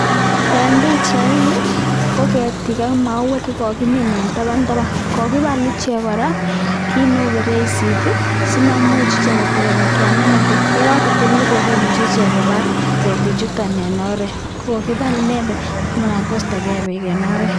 Eng pichaini ko ketiik ak mauwek cheko kimin eng taban taban, kokibal ichek kora kiit neu feresit simaimuch ichek koteremukian beek, ye kakotil beek komuche ichek kobar ketik chuto eng oret. Kokibal inendet ndamana koistokee beek eng oret.